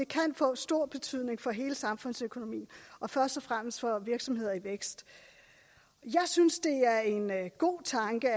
kan få stor betydning for hele samfundsøkonomien og først og fremmest for virksomheder i vækst jeg synes det er en god tanke